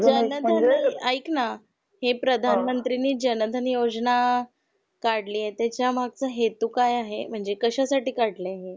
जनधन आइक ना हि प्रधानमंत्री नि जनधन योजना काढली आहे त्याचा मागचा हेतू काय आहे म्हणजे कशा साठी काढल आहे हे.